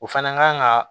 O fana kan ka